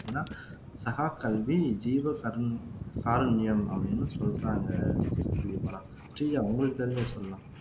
பார்த்தீங்கன்னா சகாக்கல்வி ஜீவகாருண்யம் காருண்யம் அப்படீன்னு சொல்றாங்க கிரிபாலா ஸ்ரீஜா உங்களுக்கு தெரிஞ்சத சொல்லலாம்